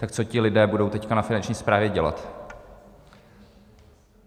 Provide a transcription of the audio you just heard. Tak co ti lidé budou teď na Finanční správě dělat?